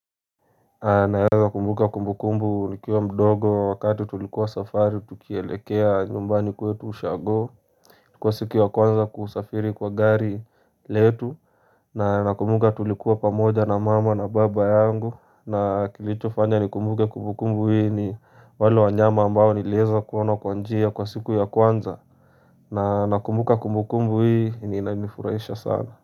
Naeza kumbuka kumbukumbu nikiwa mdogo wakati tulikuwa safari tukielekea nyumbani kwetu ushago Kwa siku ya kwanza kusafiri kwa gari letu na nakumbuka tulikuwa pamoja na mama na baba yangu na kilicho fanya nikumbuke kumbukumbu hii ni wale wanyama ambao nileweza kuona kwa njia kwa siku ya kwanza na nakumbuka kumbukumbu hii yenye inanifurahisha sana.